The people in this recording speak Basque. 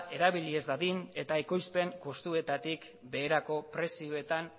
erabili ez dadin eta ekoizpen justuetatik beherako prezioetan